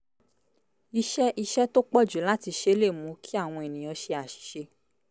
iṣẹ́ iṣẹ́ tó pọ̀ jù láti ṣe lè mú kí àwọn ènìyàn ṣe àṣìṣe